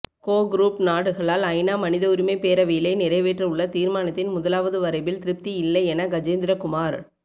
கோ group நாடுகளால் ஐநா மனித உரிமை பேரவையிலே நிறைவேற்றவுள்ள தீர்மானத்தின் முதலாவது வரைபில் திருப்தி இல்லை என கஜேந்திரகுமார்